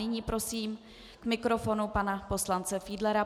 Nyní prosím k mikrofonu pana poslance Fiedlera.